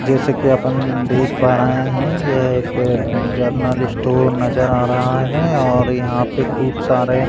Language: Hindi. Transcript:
जैसे कि अपन देख पा रहे हैं यह एक जरनल स्टोर नज़र आ रहा है और यहाँ पे खूब सारे --